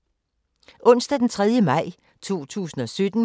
Onsdag d. 3. maj 2017